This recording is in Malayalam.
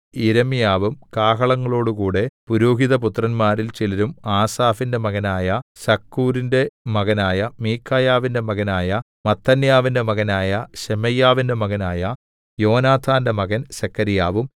യിരെമ്യാവും കാഹളങ്ങളോടുകൂടെ പുരോഹിതപുത്രന്മാരിൽ ചിലരും ആസാഫിന്റെ മകനായ സക്കൂരിന്റെ മകനായ മീഖായാവിന്റെ മകനായ മത്ഥന്യാവിന്റെ മകനായ ശെമയ്യാവിന്റെ മകനായ യോനാഥാന്റെ മകൻ സെഖര്യാവും